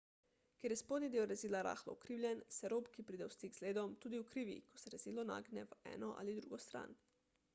ker je spodnji del rezila rahlo ukrivljen se rob ki pride v stik z ledom tudi ukrivi ko se rezilo nagne v eno ali drugo stran